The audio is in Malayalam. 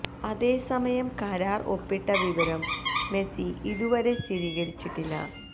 അതേസമയം കരാര് ഒപ്പിട്ട വിവരം മെസി ഇതു വരെ സ്ഥീരികരിച്ചിട്ടില്ല